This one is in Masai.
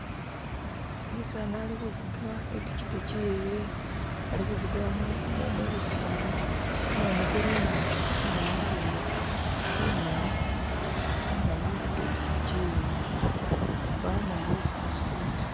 umusani alihuvuga ipichipichi iyewe ali huvugila mubisaala kumumu kuli imaso inyuma walehele bumali nenga ahuvuga ipichipichi iyewe mbawo umundu wesi asutile ta